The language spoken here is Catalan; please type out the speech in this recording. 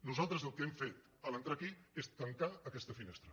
nosaltres el que hem fet en entrar aquí és tancar aquesta finestra